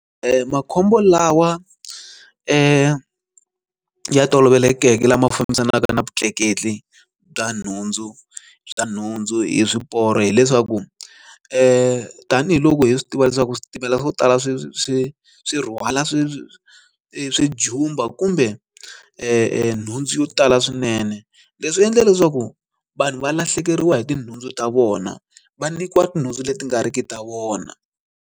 Makhombo lawa ya tolovelekeke lama fambisanaka na vutleketli bya nhundzu bya nhundzu hi swiporo hileswaku i tanihiloko hi swi tiva leswaku switimela swo tala swi swi swi rhwala swi swi swijumba kumbe nhundzu yo tala swinene leswi endla leswaku vanhu va lahlekeriwa hi tinhundzu ta vona va nyikiwa tinhundzu leti nga ri ki ta vona.